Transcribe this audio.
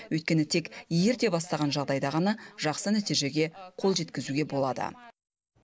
өйткені тек ерте бастаған жағдайда ғана жақсы нәтижеге қол жеткізуге болады